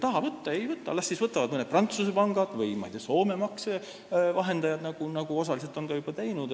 Kui nad ei taha võtta, siis las võtavad mõned Prantsuse pangad või Soome maksevahendajad, nagu nad osaliselt on ka juba teinud.